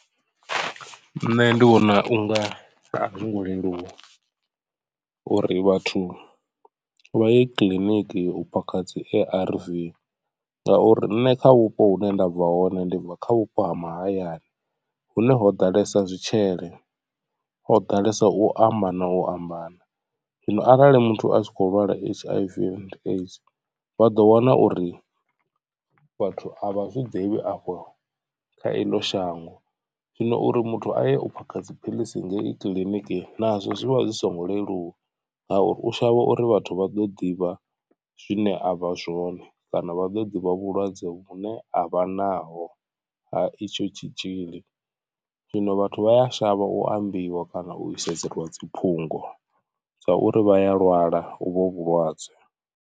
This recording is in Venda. Nṋe ndi vhona unga a zwo ngo leluwa uri vhathu vha ye kiḽiniki u phakha dzi A_R_V ngauri nṋe kha vhupo hune nda bva hone ndi bva kha vhupo ha mahayani hune ho ḓalesa zwitshele. Ho ḓalesa u amba na u amba na zwino arali muthu a tshi kho lwala H_I_V and AIDS vha ḓo wana uri vhathu a vha zwiḓivhi afho kha eḽo shango. Zwino uri muthu aye u phaka dzi phiḽisi ngei kiḽIniki nazwo zwivha zwi songo leluwa ngauri u shavha uri vhathu vha ḓo ḓivha zwine a vha zwone. Kana vha ḓo ḓivha vhulwadze vhu ne a vha naho ha itsho tshitzhili zwino vhathu vha a shavha u ambiwa kana u i sedzela dzi phungo sa uri vha ya lwala u vho vhulwadze.